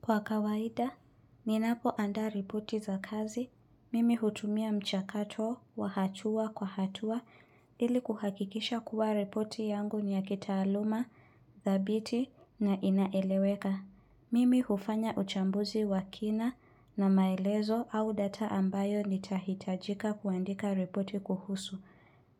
Kwa kawaida, ninapoandaa ripoti za kazi, mimi hutumia mchakato wa hatua kwa hatua ili kuhakikisha kuwa ripoti yangu ni ya kitaaluma, dhabiti na inaeleweka. Mimi hufanya uchambuzi wa kina na maelezo au data ambayo nitahitajika kuandika ripoti kuhusu.